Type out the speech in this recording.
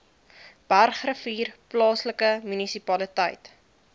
bergrivier plaaslike munisipaliteit